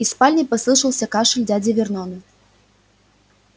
из спальни послышался кашель дяди вернона